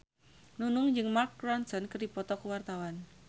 Nunung jeung Mark Ronson keur dipoto ku wartawan